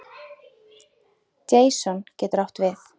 Jason getur átt við